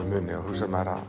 muni hugsar maður að